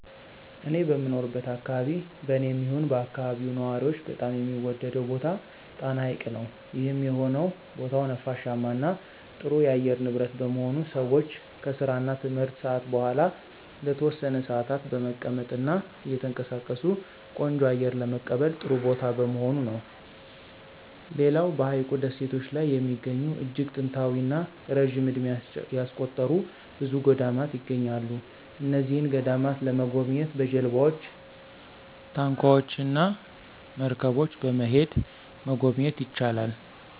እኔ በምኖርበት አከባቢ በኔም ይሁን በአከባቢው ነዋሪዎች በጣም የሚወደደው ቦታ ጣና ሀይቅ ነው። ይህም የሆነው ቦታው ነፋሻማ እና ጥሩ የአየር ንብረት በመሆኑ ሰወች ከስራ እና ትምህርት ሰአት በኋላ ለተወሰነ ሰአታት በመቀመጥ እና እየተንቀሳቀሱ ቆንጆ አየር ለመቀበል ጥሩ ቦታ በመሆኑ ነው። ሌላው በሀይቁ ደሴቶች ላይ የሚገኙ እጅግ ጥንታዊ እና ረጅም እድሜ ያስቆጠሩ ብዙ ገዳማት ይገኛሉ። እነዚህን ገዳማት ለመጎብኘት በጀልባወች፣ ታንኳወች እና መርገቦች በመሄድ መጎብኘት ይቻላል።